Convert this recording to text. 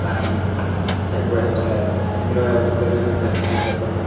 కానీ ఎక్కువ ఇష్టం లేదు. ఇందులో ఎవరికీ చెర్రీస్ అంటే ఇష్టమో చెప్పండి.